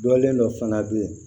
Dɔlen dɔ fana bɛ yen